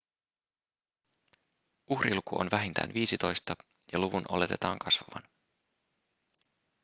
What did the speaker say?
uhriluku on vähintään viisitoista ja luvun oletetaan kasvavan